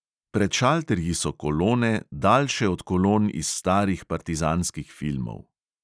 Pred šalterji so kolone, daljše od kolon iz starih partizanskih filmov.